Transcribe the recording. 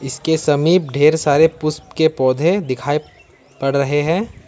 इसके समीप ढेर सारे पुष्प के पौधे दिखाई पड़ रहे हैं।